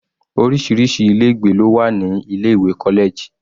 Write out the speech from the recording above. Orísirísi ilé ìgbé ló wà ní ilé ìwé college.